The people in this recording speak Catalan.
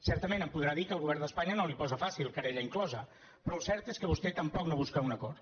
certament em podrà dir que el govern d’espanya no li ho posa fàcil querella inclosa però el cert és que vostè tampoc no busca un acord